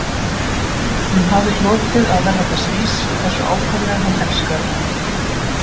Hún hafði hlotið að verða þess vís hversu ákaflega hann elskaði hana